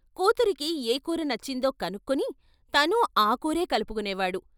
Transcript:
కూతురికి ఏ కూర నచ్చిందో కనుక్కుని తనూ ఆ కూరే కలుపుకునేవాడు.